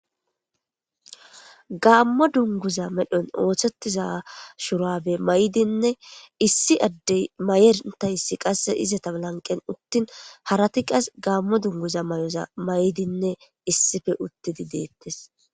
Gaammo dunguza medhon ooththettiza shurabe may'dinne issi addey mayentayssi qasse izata lanqen uttin harati qas gaammo dunguza may'oza may'dinne issife uttidi deettes.